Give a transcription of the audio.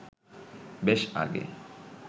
বেশ আগে